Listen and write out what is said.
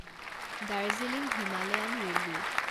Darjeeling Himalayan railway